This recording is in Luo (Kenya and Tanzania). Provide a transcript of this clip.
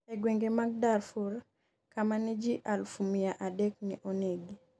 e gwenge mag Darfur, kama ne ji aluf miya adek ne onegi